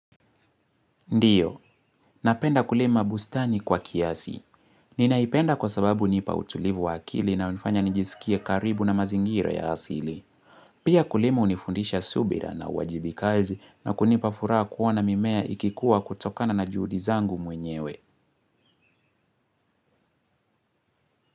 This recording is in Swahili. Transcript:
Ndiyo, napenda kulima bustani kwa kiasi. Ninaipenda kwa sababu hunipa utulivu wa akili na hunifanya nijisikie karibu na mazingira ya asili. Pia kulima hunifundisha subira na uwajibikaji na kunipa furaha kuona mimea ikikua kutokana na juhudi zangu mwenyewe.